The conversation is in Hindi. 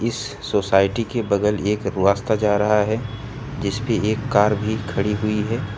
इस सोसाइटी के बगल एक रास्ता जा रहा है जिस पे एक कार भी खड़ी हुई है।